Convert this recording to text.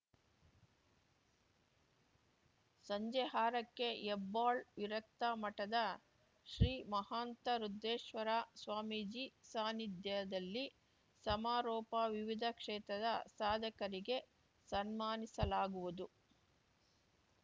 ಸಂಜೆ ಆರಕ್ಕೆ ಹೆಬ್ಬಾಳ್‌ ವಿರಕ್ತ ಮಠದ ಶ್ರೀ ಮಹಾಂತ ರುದ್ರೇಶ್ವರ ಸ್ವಾಮೀಜಿ ಸಾನಿಧ್ಯದಲ್ಲಿ ಸಮಾರೋಪ ವಿವಿಧ ಕ್ಷೇತ್ರದ ಸಾಧಕರಿಗೆ ಸನ್ಮಾನಿಸಲಾಗುವುದು